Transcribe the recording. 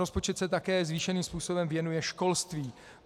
Rozpočet se také zvýšeným způsobem věnuje školství.